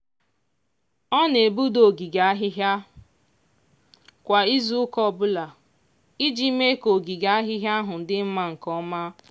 ọ na-egbuda ogige ahịhịa kwa izuụka ọbụla iji mee ka ogige ahịhịa ahụ dị mma nke ọma.